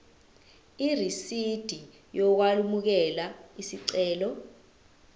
irisidi lokwamukela isicelo